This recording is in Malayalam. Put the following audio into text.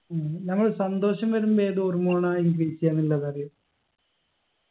ഉം നമ്മള് സന്തോഷം വരുമ്പൊ ഏത് hormone ആ increase എയ്യാന്നുള്ളതറിയോ